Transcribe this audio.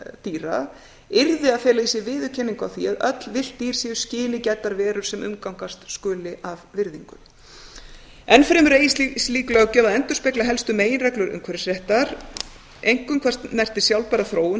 dýra yrði að fela í sér viðurkenningu á því að öll villt dýr séu skyni gæddar verur sem umgangast skuli af virðingu enn fremur eigi slík löggjöf að endurspegla helstu meginreglur umhverfisréttar einkum hvað snertir sjálfbæra þróun